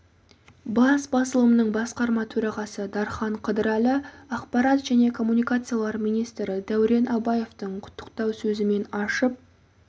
бас басылымның басқарма төрағасы дархан қыдырәлі ақпарат және коммуникациялар министрі дәурен абаевтың құттықтау сөзімен ашып